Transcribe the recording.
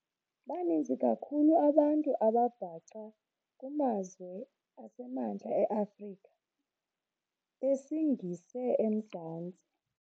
Baninzi kakhulu abantu ababhaca kumazwe asemantla eAfrika besingise eMzantsi.